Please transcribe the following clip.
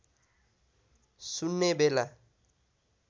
सुन्ने बेला